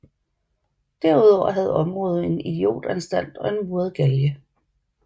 Derudover havde området en idiotanstalt og en muret galge